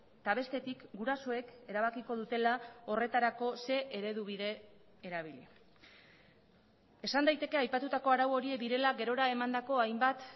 eta bestetik gurasoek erabakiko dutela horretarako zein eredu bide erabili esan daiteke aipatutako arau horiek direla gerora emandako hainbat